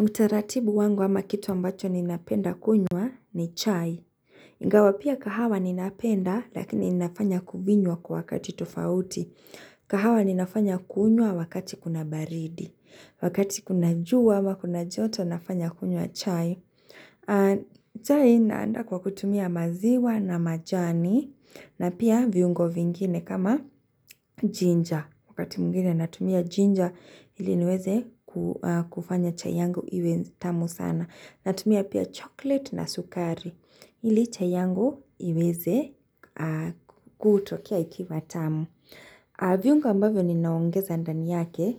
Mkitaratibu wangu ama kitu ambacho ninapenda kunywa ni chai. Ingawa pia kahawa ninapenda lakini inafanya kuvinywa kwa wakati tufauti. Kahawa ninafanya kunywa wakati kuna baridi. Wakati kuna juwa ama kuna joto nafanya kunywa chai. Chai naanda kwa kutumia maziwa na majani na pia viungo vingine kama jinja. Wakati mwingine natumia ginger ili niweze kufanya chayangu iwezi tamu sana. Natumia pia chocolate na sukari ili chayangu iweze kutokia ikiva tamu. Aviungo ambavyo ni naongeza andani yake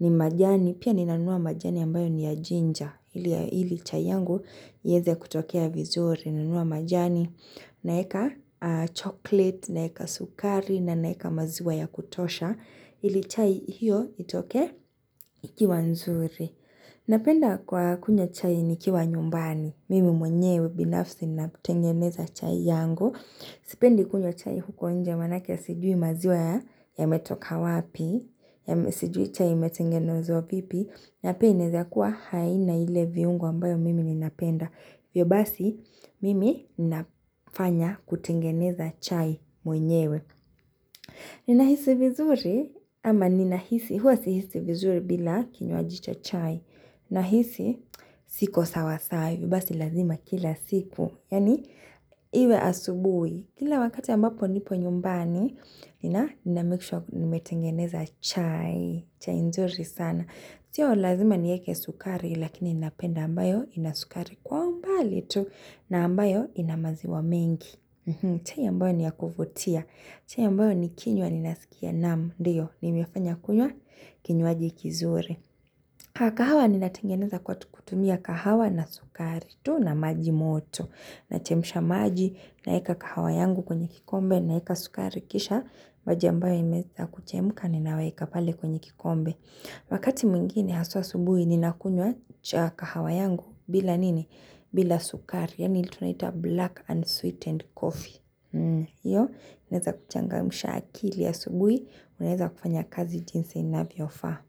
ni majani pia ni nanua majani ambayo ni ya ginger ili chayangu iweze kutokia vizuri nanua majani. Naeka chocolate, naeka sukari na naeka maziwa ya kutosha Ili chai hiyo itoke ikiwa nzuri Napenda kwa kunywa chai nikiwa nyumbani Mimi mwenyewe binafsi na tengeneza chai yangu. Sipendi kunywa chai huko nje wanake ya sijui maziwa ya metoka wapi ya sijui chai metengenozo vipi Napenda za kuwa haina ile viungo ambayo mimi ni napenda Vyo basi, mimi nafanya kutengeneza chai mwenyewe. Ninahisi vizuri, ama ninahisi, huwa sihisi vizuri bila kinyuajicha chai. Ninahisi, siko sawasai, vyo basi lazima kila siku. Yani, iwe asubui. Kila wakati ambapo nipo nyumbani, ninamikusha nimetengeneza chai, chai nzuri sana. Siyo lazima ni yeke sukari lakini inapenda ambayo ina sukari kwa mbali tu na ambayo inamaziwa mingi. Chai ambayo ni ya kufutia. Chai ambayo ni kinywa ni nasikia namu. Ndiyo, nimiafanya kunywa kinywaji kizuri. Kahawa ni natengeneza kwa tukutumia kahawa na sukari tu na maji moto. Nachemisha maji na eka kahawa yangu kwenye kikombe na eka sukari kisha. Maji ambayo imezza kuchemuka ni nawaika pale kwenye kikombe. Wakati mwingine haswa subuhi ninakunywa chaka hawa yangu bila nini? Bila sukari. Yani ili tunaita black and sweetened coffee. Iyo, uneza kuchangamsha akili asubuhi. Uneza kufanya kazi jinsi inavyo fa.